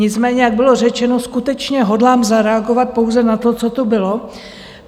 Nicméně jak bylo řečeno, skutečně hodlám zareagovat pouze na to, co tu bylo.